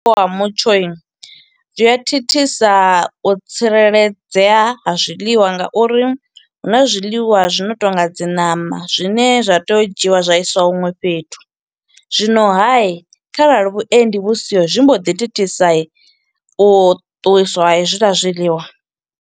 Wa mutsho, zwi a thithisa u tsireledzea ha zwiḽiwa nga uri huna zwiḽiwa zwi no tonga dzi ṋama, zwine zwa tea u dzhiiwa zwa isiwa hunwe fhethu. Zwino hai kharali vhuendi vhu siho, zwi mbo ḓi thithisa, u ṱuwiswa ha hezwiḽa zwiḽiwa.